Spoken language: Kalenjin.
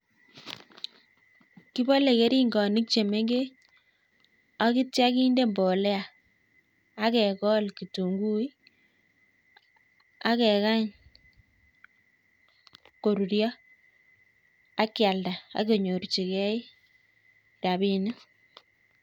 Kibole keringok che mengech akityo kinde mbolea, akekol kitunguik akekany korurio akialda akinyorjigei rabinik.